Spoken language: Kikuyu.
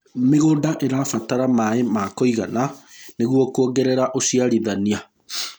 mĩgũnda irabatara maĩ ma kũigana nĩguo kuongerera uciarithanĩa